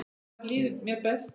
Þar líður mér best.